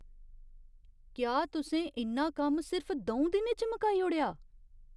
क्या तुसें इन्ना कम्म सिर्फ द'ऊं दिनें च मकाई ओड़ेआ ?